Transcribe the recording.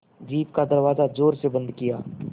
jeep का दरवाज़ा ज़ोर से बंद किया